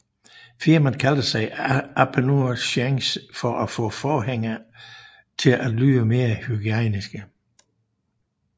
Firmaet kaldte sig Aperture Science for at få forhængene til at lyde mere hygiejniske